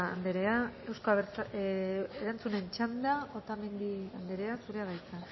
anderea erantzunen txanda otamendi anderea zurea da hitza